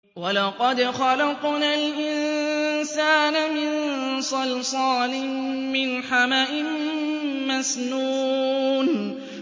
وَلَقَدْ خَلَقْنَا الْإِنسَانَ مِن صَلْصَالٍ مِّنْ حَمَإٍ مَّسْنُونٍ